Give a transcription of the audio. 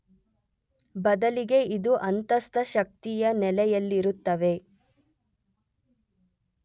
ಬದಲಿಗೆ ಇದು ಅಂತಸ್ಥ ಶಕ್ತಿಯ ನೆಲೆಯಲ್ಲಿರುತ್ತವೆ.